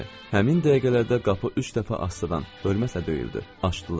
Həmin dəqiqələrdə qapı üç dəfə astadan, ölməsə döyüldü.